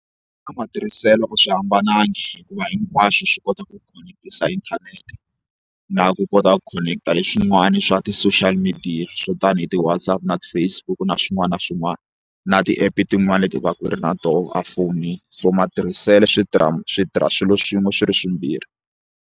Ka matirhiselo a swi hambanangi hikuva hinkwaswo swi kota ku khoneketisa inthanete na ku kota ku connect-a hi swin'wana swa ti-social media swo tani hi ti-WhatsApp na ti-Facebook na swin'wana na swin'wana na ti-app tin'wani leti u va ku ri na tona a fonini so matirhiselo switirha switirha swilo swin'we swi ri swimbirhi.